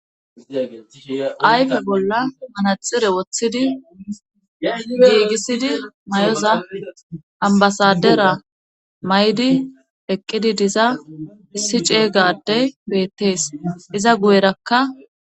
ayfe bolla manaxire woththidi geygisidi mayoza ambasadera may7di eqqidi diza issi ceeygaddey beettees iza guyerakka